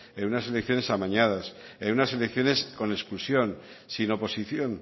en unas elecciones amañadas en unas elecciones con exclusión sin oposición